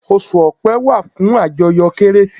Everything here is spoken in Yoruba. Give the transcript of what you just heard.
Osù ọ̀pe wà fún àjọyọ̀ kérésì